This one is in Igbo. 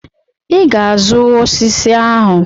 I ga-azụ osisi ahụ.